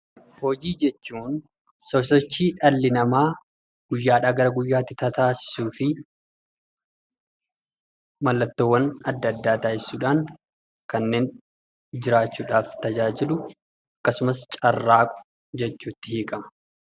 Hojii jechuun sosochii dhalli namaa guyyaadhaa gara guyyaatti tataasisuu fi mallattoowwan adda addaa taasisuudhaan kanneen jiraachuudhaaf tajaajilu akkasumas carraaqu jechuutti hiikama.